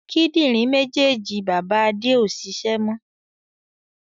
Kíndìnrín méjèèjì bàbá Adé ó ṣiṣẹ́ mọ